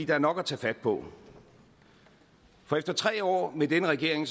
er nok at tage fat på efter tre år med denne regering